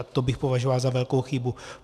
A to bych považoval za velkou chybu.